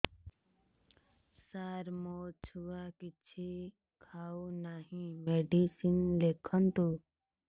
ସାର ମୋ ଛୁଆ କିଛି ଖାଉ ନାହିଁ ମେଡିସିନ ଲେଖନ୍ତୁ